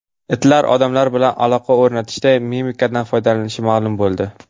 Itlar odamlar bilan aloqa o‘rnatishda mimikadan foydalanishi ma’lum bo‘ldi.